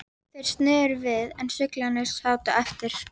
Þeir sneru við en fuglarnir sátu eftir.